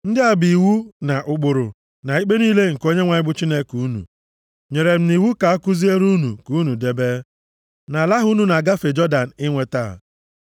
Ndị a bụ iwu, na ụkpụrụ, na ikpe niile nke Onyenwe anyị bụ Chineke unu, nyere m nʼiwu ka a kuziere unu ka unu debe, nʼala ahụ unu na-agafe Jọdan inweta.